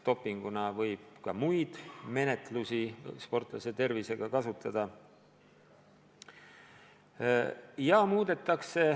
Dopinguna võib ka muid sportlase tervist mõjutavaid menetlusi kasutada.